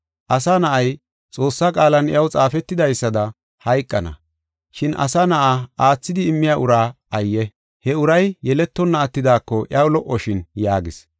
Asa Na7ay, Xoossaa qaalan iyaw xaafetidaysada hayqana. Shin Asa Na7aa aathidi immiya uraa ayye! He uray yeletonna attidaako iyaw lo77oshin” yaagis.